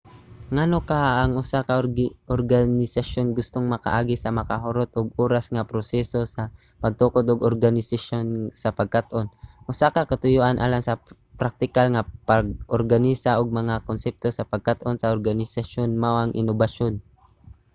ngano kaha nga ang usa ka organisasyon gustong makaagi sa makahurot og oras nga proseso sa pagtukod og organisasyon sa pagkat-on? usa ka katuyoan alang sa praktikal nga pag-organisa og mga konsepto sa pagkat-on sa organisasyon mao ang inobasyon